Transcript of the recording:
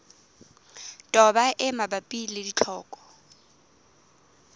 toba e mabapi le ditlhoko